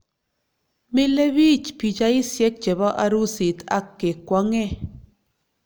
Milebich pichaisyek chebo arusit ak kekwong'e